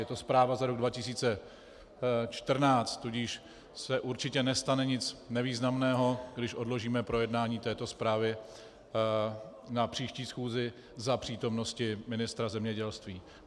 Je to zpráva za rok 2014, tudíž se určitě nestane nic významného, když odložíme projednání této zprávy na příští schůzi za přítomnosti ministra zemědělství.